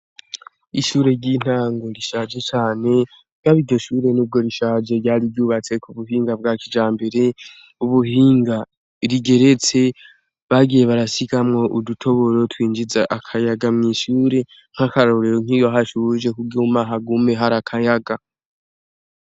Ishure ry'intango rishaje cane wabigishure ni bwo rishaje ryari ryubatse ku buhinga bwa kija mbere ubuhinga rigeretse bagiye barasigamwo udutoboro twinjiza akayaga mw'ishure nk'akarorero nkiyo hashe uwuje kubwo uumahagume hari akayaga.